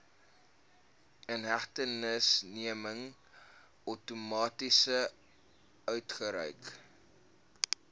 inhegtenisneming outomaties uitgereik